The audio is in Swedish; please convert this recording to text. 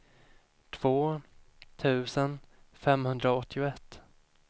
två tusen femhundraåttioett